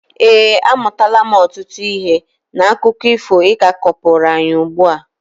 ee, amụtara m ọtụtụ ihe n'akụkọ ifo ị ka kọpụrụ anyị ugbua